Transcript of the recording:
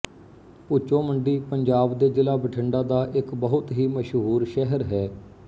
ਭੁੱਚੋ ਮੰਡੀ ਪੰਜਾਬ ਦੇ ਜ਼ਿਲ੍ਹਾ ਬਠਿੰਡਾ ਦਾ ਇੱਕ ਬਹੁਤ ਹੀ ਮਸ਼ਹੂਰ ਸ਼ਹਿਰ ਹੈ